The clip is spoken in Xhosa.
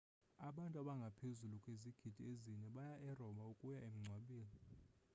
abantu abangaphezu kwezigidi ezine baya eroma ukuya emngcwabeni